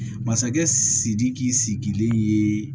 Masakɛ sidiki sigilen ye